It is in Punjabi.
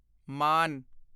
ਮਾਨ